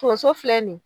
Tonso filɛ nin ye